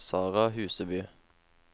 Sarah Huseby